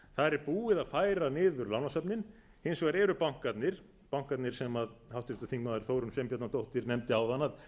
er búið að færa niður lánasöfnin hins vegar eru bankarnir bankarnir sem háttvirtur þingmaður þórunn sveinbjarnardóttir nefndi áðan að væru